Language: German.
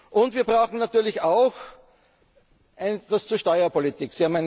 Ihnen. Und wir brauchen natürlich auch etwas zur Steuerpolitik.